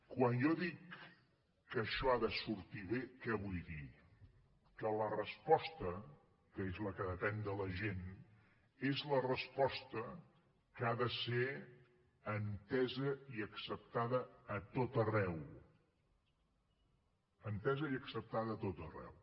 quan jo dic que això ha de sortir bé què vull dir que la resposta que és la que depèn de la gent és la resposta que ha de ser entesa i acceptada a tot arreu entesa i acceptada a tot arreu